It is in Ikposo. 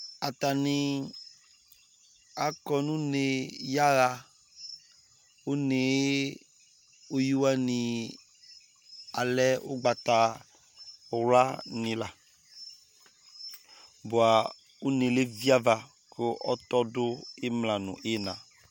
atani akɔ no une ya ɣa une yɛ uwi wani alɛ ugbata wla ni la boa une levi ava ko ɔtɔ do imla no ina